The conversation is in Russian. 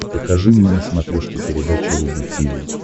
покажи мне на смотрешке передачу рубль ти ви